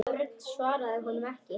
Örn svaraði honum ekki.